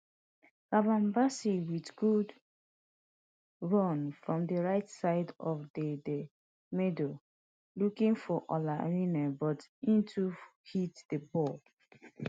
calvin bassey wit good run from di right side of di di middle looking for ola aina but hin too hit di ball